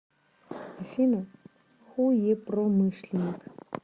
афина хуепромышленник